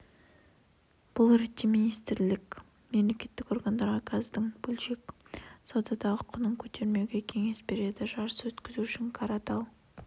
бұл ретте министрлік мемлекеттік органдарға газдың бөлшек саудадағы құнын көтермеуге кеңес береді жарыс өткізу үшін қаратал